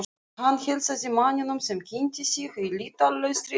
Hann heilsaði manninum sem kynnti sig á lýtalausri ensku.